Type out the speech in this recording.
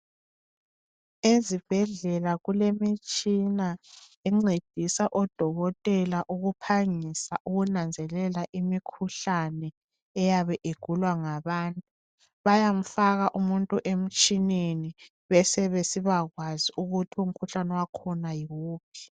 Ezibhedlela kulemitshina encedisa odokotela ukuphangisa ukunanzelela imikhuhlane eyabe igulwa ngabantu, bayamfaka umuntu emtshineni besebesiba kwazi ukuthi umkhuhlane wakhona yiwuphi.